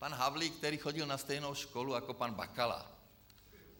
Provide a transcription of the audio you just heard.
Pan Havlík, který chodil na stejnou školu jako pan Bakala.